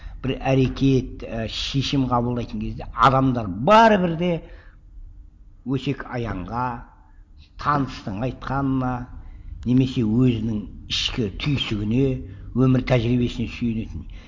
бір әрекет і шешім қабылдайтын кезде адамдар бәрібір де өсек аяңға таныстың айтқанына немесе өзінің ішкі түйсігіне өмір тәжірибесіне сүйенетін